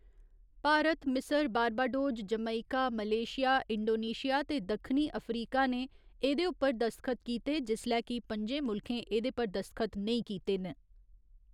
भारत, मिसर, Barbados, Jamaica, Malaysia, Indonesia ते दक्खणी अफ्रीका ने एह्दे उप्पर दस्तखत कीते जिसलै कि पं'जें मुल्खें एह्दे पर दस्तखत नेईं कीते न।